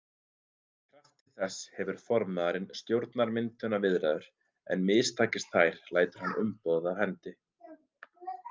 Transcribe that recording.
Í krafti þess hefur formaðurinn stjórnarmyndunarviðræður en mistakist þær lætur hann umboðið af hendi.